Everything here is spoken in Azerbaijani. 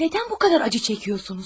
Nədən bu qədər acı çəkirsiniz?